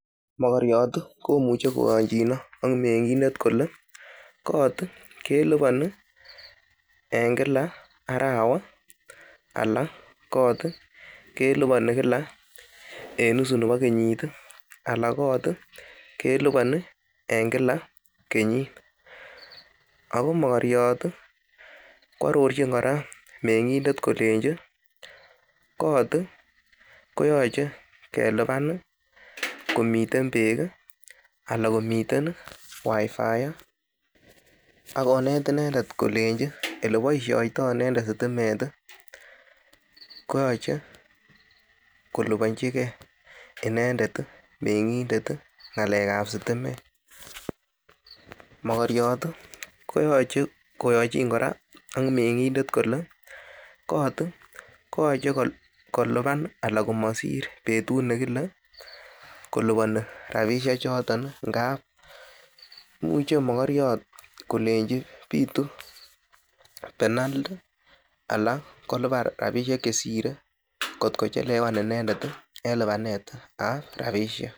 Mogoriot komuche koyonjin ak meng'indte kole kot keliponi en kila arawa ana kot keliponi kila en nusu nebo kenyit, ala kot keliponi en kila kenyit. ago mogoriot koarorojin kora mengindet kolenchi kot koyoche kelipan komiten, beek ana komiten WIFI ak konet inendet kolenchi ole boisioito sitimet koyoche koliponjige inendet meng'indet ngalek ab sitimet. Mogoriot koyoche koyonjin ak meng'indet kole kot koyoche kolipan ana komsir betuut nekile koliponi rabishek choton ngab imuche mokoriot kolenchi bitu penalty anan kolipan chesire kotko chelewan inendet en lipanet ab rabishek.